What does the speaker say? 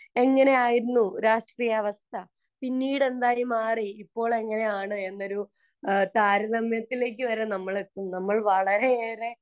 എങ്ങനെ ആയിരുന്നു രാഷ്ട്രീയ അവസ്ഥ പിന്നീട് എന്തായി മാറി ഇപ്പോൾ എങ്ങനെയാണ് എന്നൊരു താരതമ്യത്തിലേക്ക് നമ്മൾ എത്തും നമ്മൾ വളരെയേറെ